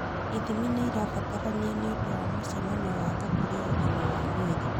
Ithimi nĩ irabatarania nĩ ũndũ wa mũcemanio wa gũkũria ũgima wa mwĩrĩ.